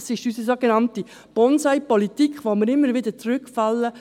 Dies ist unsere sogenannte «Bonsai-Politik», in die wir immer wieder zurückfallen.